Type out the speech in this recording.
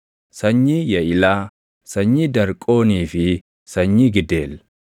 sanyii Yaʼilaa, sanyii Darqoonii fi sanyii Gideel;